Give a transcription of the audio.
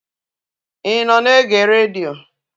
Ị nọ na-ege redio?